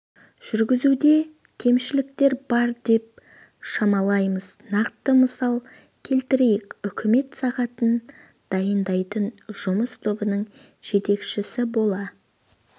жүргізуде кемшіліктер бар деп шамалаймыз нақты мысал келтірейік үкімет сағатын дайындайтын жұмыс тобының жетекшісі бола